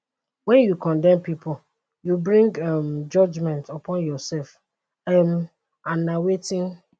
wen you condemn pipo you bring um judgement upon yoursef um and na wetin